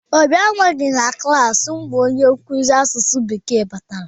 Obi anọghị na klaasị mgbe onye nkuzi asụsụ bekee bịara.